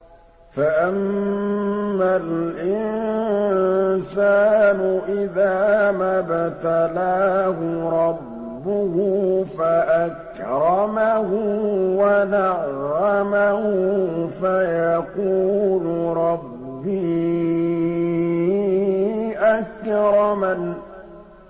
فَأَمَّا الْإِنسَانُ إِذَا مَا ابْتَلَاهُ رَبُّهُ فَأَكْرَمَهُ وَنَعَّمَهُ فَيَقُولُ رَبِّي أَكْرَمَنِ